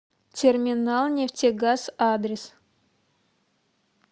терминалнефтегаз адрес